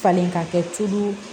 Falen ka kɛ tulu